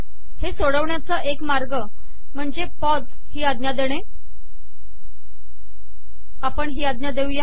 हे सोडवण्याचा एक मार्ग म्हणजे पॉज ही आज्ञा देणे